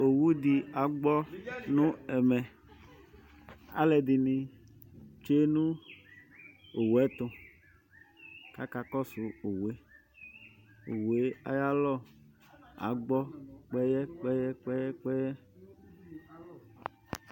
Owu dɩ agbɔ nʋ ɛmɛ Alʋɛdɩnɩ tsue nʋ owu yɛ tʋ kʋ akakɔsʋ owu yɛ Owu yɛ ayalɔ agbɔ kpɛyɛ-kpɛyɛ-kpɛyɛ